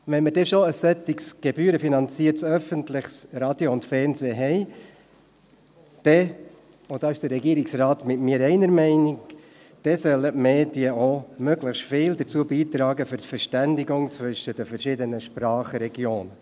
Wenn wir schon ein solches gebührenfinanziertes öffentliches Radio und Fernsehen haben, dann sollen – und diesbezüglich ist der Regierungsrat einer Meinung mit mir – die Medien auch möglichst viel zur Verständigung zwischen den verschiedenen Sprachregionen beitragen.